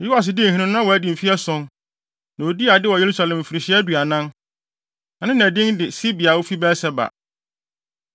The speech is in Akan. Yoas dii hene no, na wadi mfe ason, na odii ade wɔ Yerusalem mfirihyia aduanan. Na ne na din de Sibia a ofi Beer-Seba.